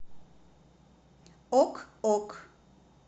ок ок